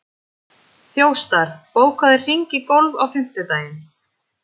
Þjóstar, bókaðu hring í golf á fimmtudaginn.